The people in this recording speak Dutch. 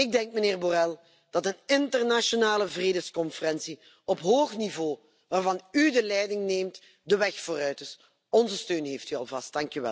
Ik denk, meneer Borrell, dat een internationale vredesconferentie op hoog niveau waarvan u de leiding neemt, de weg vooruit is. Onze steun heeft u alvast.